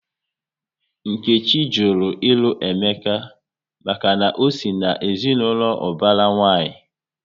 Nkechi jụrụ ilu Emeka maka na ọ sị na ezinaụlọ ubara nwanyi